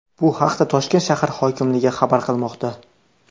Bu haqda Toshkent shahar hokimligi xabar qilmoqda .